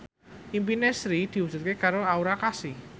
impine Sri diwujudke karo Aura Kasih